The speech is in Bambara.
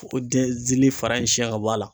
O denzili fara in siɲɛ ka bɔ a la.